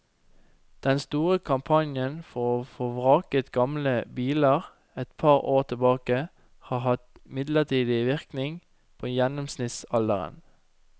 Den store kampanjen for å få vraket gamle biler et par år tilbake, har bare hatt midlertidig innvirkning på gjennomsnittsalderen.